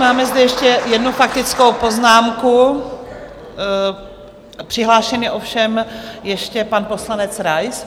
Máme zde ještě jednu faktickou poznámku, přihlášen je ovšem ještě pan poslanec Rais.